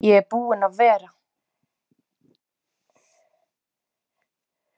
Ég er búinn að vera.